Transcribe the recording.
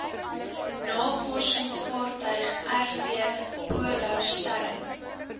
navorsingsvaartuig rv polarstern